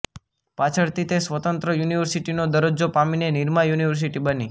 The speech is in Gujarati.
પાછળથી તે સ્વતંત્ર યુનિવર્સિટીનો દરજ્જો પામીને નિરમા યુનિવર્સિટી બની